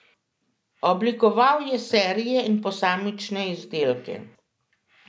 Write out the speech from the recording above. Oblikoval je serije in posamične izdelke.